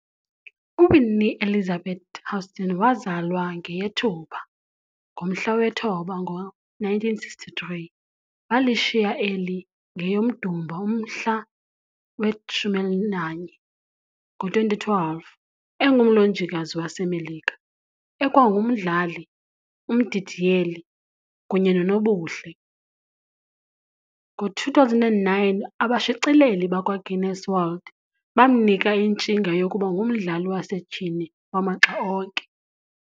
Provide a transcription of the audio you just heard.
UWhitney Elizabeth Houston, wazalwa ngeyeThupha ngomhla we-9, ngo1963 - walishiya eli ngeyoMdumba umhla we-11, ngo2012, engumlonjikazi waseMelika, ekwangumdlali, umdidiyeli, kunyenonobuhle. Ngo2009, "Abashicileli bakwaGuinness World" bamnika intshinga yokuba ngumdlali wasetyhini wamaxa onke.